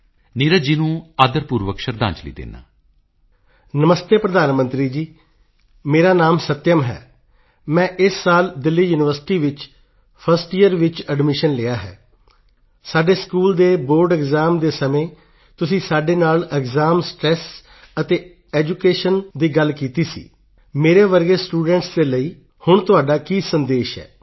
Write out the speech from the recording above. ਨੀਰਜ ਜੀ ਨੂੰ ਆਦਰ ਪੂਰਵਕ ਸ਼ਰਧਾਂਜਲੀ ਦਿੰਦਾ ਹਾਂ ਨਮਸਤੇ ਪ੍ਰਧਾਨ ਮੰਤਰੀ ਜੀ ਮੇਰਾ ਨਾਮ ਸੱਤਿਅਮ ਹੈ ਮੈਂ ਇਸ ਸਾਲ ਦੇਲ੍ਹੀ ਯੂਨੀਵਰਸਿਟੀ ਵਿੱਚ 1st ਯੀਅਰ ਵਿੱਚ ਐਡਮਿਸ਼ਨ ਲਿਆ ਹੈ ਸਾਡੇ ਸਕੂਲ ਦੇ ਬੋਰਡ ਐਕਸਾਮ ਦੇ ਸਮੇਂ ਤੁਸੀਂ ਸਾਡੇ ਨਾਲ ਐਕਸਾਮ ਸਟ੍ਰੈਸ ਅਤੇ ਐਡੂਕੇਸ਼ਨ ਦੀ ਗੱਲ ਕੀਤੀ ਸੀ ਮੇਰੇ ਵਰਗੇ ਸਟੂਡੈਂਟਸ ਲਈ ਹੁਣ ਤੁਹਾਡਾ ਕੀ ਸੰਦੇਸ਼ ਹੈ